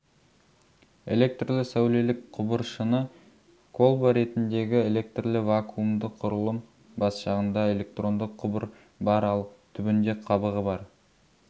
электрлі-сәулелік құбыр шыны колба ретіндегі электрлі-вакуумды құрылым бас жағында электронды құбыр бар ал түбінде қабығы бар